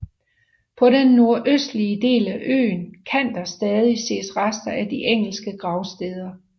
På den nordøstlige del af øen kan der stadig ses rester af de engelske gravsteder